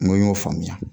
N ko n y'o faamuya